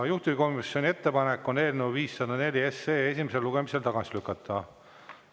Juhtivkomisjoni ettepanek on eelnõu 504 esimesel lugemisel tagasi lükata.